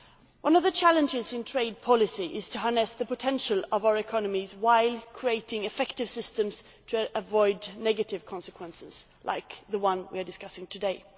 One of the challenges in trade policy is to harness the potential of our economies while creating effective systems to avoid negative consequences, like the one we are discussing today.